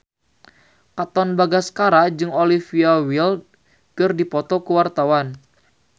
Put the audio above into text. Katon Bagaskara jeung Olivia Wilde keur dipoto ku wartawan